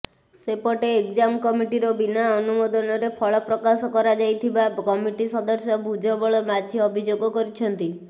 ସେପଟେ ଏକ୍ଜାମ କମିଟିର ବିନା ଅନୁମୋଦନରେ ଫଳ ପ୍ରକାଶ କରାଯାଇଥିବା କମିଟି ସଦସ୍ୟ ଭୂଜବଳ ମାଝୀ ଅଭିଯୋଗ କରିଛନ୍ତି